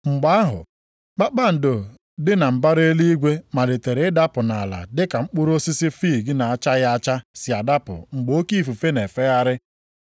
Mgbe ahụ, kpakpando dị na mbara eluigwe malitere ịdapụ nʼala dịka mkpụrụ osisi fiig na-achaghị acha si adapụ mgbe oke ifufe na-efegharị ya.